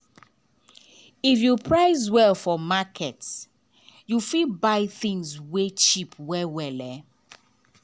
if you price well for market you fit buy things wey cheap well well.